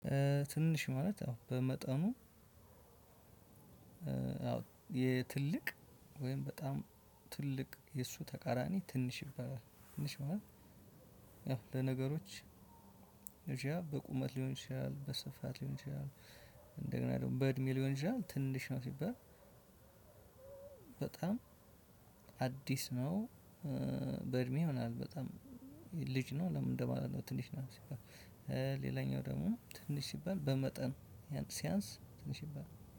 ትንሽ ማለት ያው በመጠኑ የትልቅ ወይም በጣም ትልቅ የእሱ ተቃራኒ ትንሽ ይባላል። ትንሽ ማለት ያው ለነገሮች ይችላል በቁመት ሊሆን ይችላል በስፋት ሊሆን ይችላል። እንደገና ደግሞ በእድሜ ሊሆን ይችላል ትንሽ ነው። ሲባል በጣም አዲስ ነው በእድሜ ይሆናል በጣም ልጅ ነው። ለምን እንደማለት ነው። ትንሽ ነው። ሲባል ሌላኛው ደግሞ ትንሽ ሲባል በመጠን ሲያንስ ትንሽ ይባላል